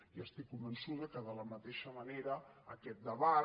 i estic convençuda que de la mateixa manera aquest debat